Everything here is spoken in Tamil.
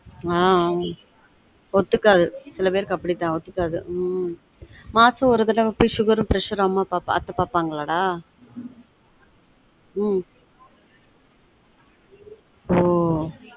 ஆன் ஒத்து காது சில பேருக்கு அப்டி தான் ஒத்து காது மாசம் ஒரு தடவ போய் sugar உம் pressure உம் அம்மா அப்பா பார்த்து பாப்பாங்களாடா உம் ஒ